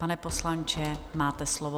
Pane poslanče, máte slovo.